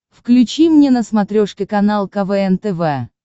включи мне на смотрешке канал квн тв